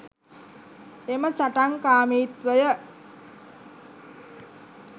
එම සටන්කාමීත්වය